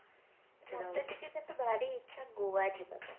ମତେ ଟିକେ କିନ୍ତୁ ଭାରି ଇଚ୍ଛା ଗୋଆ ଯିବାର